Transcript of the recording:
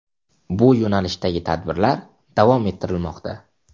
Bu yo‘nalishdagi tadbirlar davom ettirilmoqda.